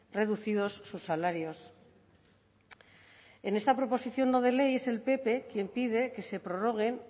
reducidos sus salarios en esta proposición no de ley es el pp quien pide que se prorroguen